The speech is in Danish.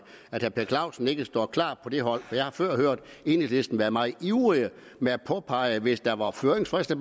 at herre per clausen ikke står klart på det hold for jeg har før hørt enhedslisten være meget ivrig med at påpege hvis der var høringsfrister